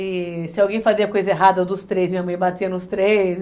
E se alguém fazia coisa errada dos três, minha mãe batia nos três.